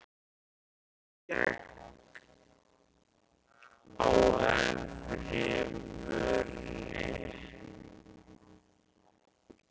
Mig með skegg á efri vörinni.